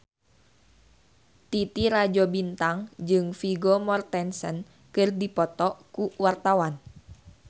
Titi Rajo Bintang jeung Vigo Mortensen keur dipoto ku wartawan